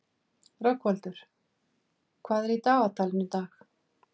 Rögnvaldur, hvað er í dagatalinu í dag?